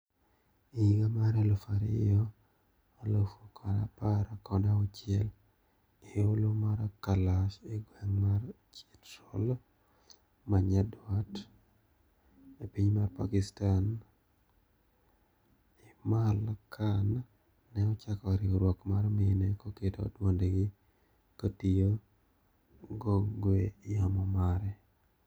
E higa mar elfu ariyo alufu kod apar kod auchiel e holo mar kalash egweng mar chitral manyadwat epiny mar Pakistan A imal khan ne ochako riwruok mar mine koketo dwondgi kotiyo gogwe yamo mare